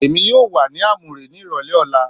Èmi yóò wà ní Amure ní ìrọ̀lẹ́ ọ̀la